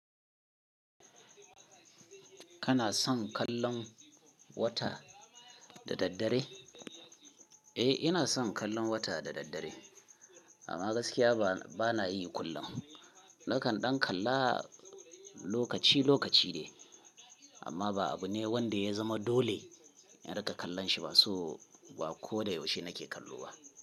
Kana son kallon wata da daddare? Eh, ina son kallon wata da daddare, amma gaskiya ba nayi kullum. Nakan ɗan kalla lokaci-lokaci de, amma ba abu ne wanda ya zama dole in riƙa kallon shi ba, so ba ko da yaushe nake kallo ba.